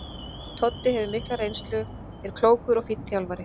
Toddi hefur mikla reynslu og er klókur og fínn þjálfari.